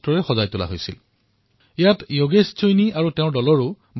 আপোনালোকৰ মনত আছে চাগে কুম্ভৰ সময়ত প্ৰয়াগৰাজক কিদৰে পথৰ পেইণ্টিঙেৰে সজোৱা হৈছিল